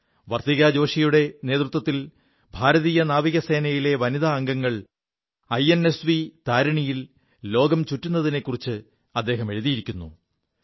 വർത്തികാ ജോഷിയുടെ നേതൃത്വത്തിൽ ഭാരതീയ നാവികസേനയിലെ വനിത അംഗങ്ങൾ ഐഎൻഎസ്വി താരിണിയിൽ ലോകം ചുറ്റുതിനെക്കുറിച്ച് അദ്ദേഹം എഴുതിയിരിക്കുു